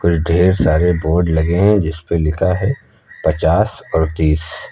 ढेर सारे बोर्ड लगे हैं जिस पे लिखा है पचास और तीस।